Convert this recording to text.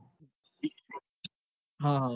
હ અ હ અ